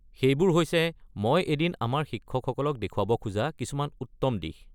সেইবোৰ হৈছে মই এদিন আমাৰ শিক্ষকসকলক দেখুৱাব খোজা কিছুমান উত্তম দিশ।